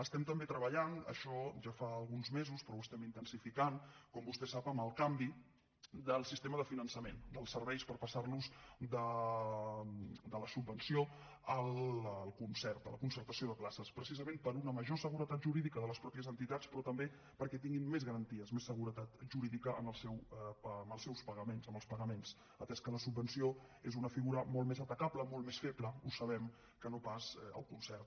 estem també treballant això ja fa alguns mesos però ho estem intensificant com vostè sap en el canvi del sistema de finançament dels serveis per passarlos de la subvenció al concert a la concertació de places precisament per a una major seguretat jurídica de les mateixes entitats però també perquè tinguin més garanties més seguretat jurídica en els seus pagaments en els pagaments atès que la subvenció és una figura molt més atacable molt més feble ho sabem que no pas el concert